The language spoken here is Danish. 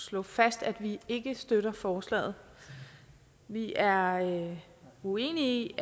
slå fast at vi ikke støtter forslaget vi er uenige